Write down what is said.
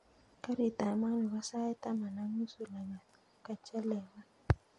Karit ap maat nepo sait taman ak nusu langat kechelewan